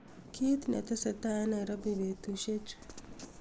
kiit netesetai en nairobi betusiek chu